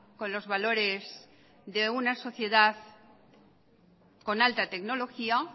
con los valores de una sociedad con alta tecnología